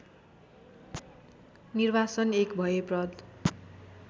निर्वासन एक भयप्रद